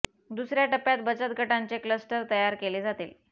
दुसर्या टप्प्यात बचत गटांचे क्लस्टर तयार केले जातील